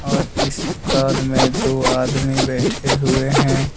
और इस दुकान में दो आदमी बैठे हुए हैं।